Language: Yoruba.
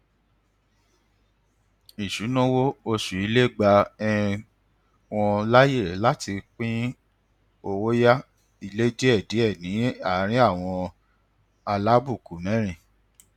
isunawo oṣù ilé gba um wọn láyè láti pín owó yá ilé díẹdíẹ ní àárín àwọn alábùkù mẹrin